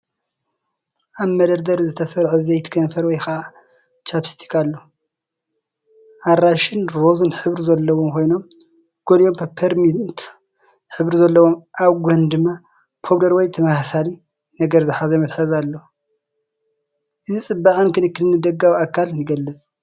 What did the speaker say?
ኣብ መደርደሪ ዝተሰርዐ ዘይቲ ከንፈር ወይ ከዓ ቻኘስቲክ ኣሎ። ኣራንሺን ሮዝን ሕብሪ ዘለዎም ኮይኖም፡ ገሊኦም ፐፐርሚንት ሕብሪ ዘለዎም ፣ኣብ ጎኑ ድማ ፓውደር ወይ ተመሳሳሊ ነገር ዝሓዘ መትሓዚ ኣሎ። እዚ ፅባቐን ክንክን ንደጋዊ ኣካል ይገልፅ፡፡